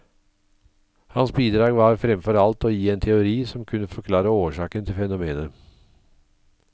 Hans bidrag var fremfor alt å gi en teori som kunne forklare årsaken til fenomenet.